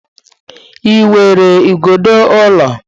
Ị nwere igodo ụlọ?